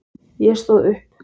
Ég stóð upp.